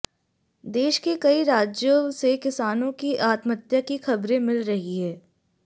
देश के कई राज्यों से किसानों की आत्महत्या की खबरें मिल रही हैं